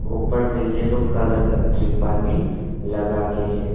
ऊपर में yellow colour का त्रिपाल भी लगा के है।